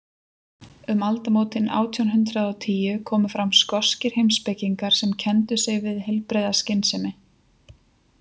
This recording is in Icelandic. Um aldamótin átján hundrað og tíu komu fram skoskir heimspekingar sem kenndu sig við heilbrigða skynsemi.